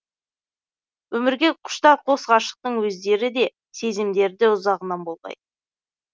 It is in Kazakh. өмірге құштар қос ғашықтың өздері де сезімдері ұзағынан болғай